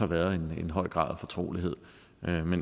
været en høj grad af fortrolighed